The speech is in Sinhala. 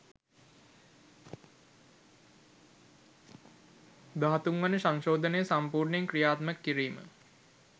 දහතුන් වන සංශෝධනය සම්පූර්ණයෙන් ක්‍රියාත්මක කිරීම